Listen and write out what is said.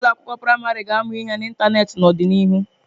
Ụlọ akwụkwọ praịmarị ga-amu ihe n'ịntanetị n'ọdịnihu.